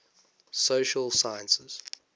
social sciences